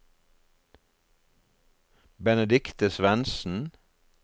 Benedicte Svensen